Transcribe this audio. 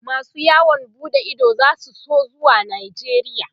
masu yawon buɗe Ido zasu so zuwa najeria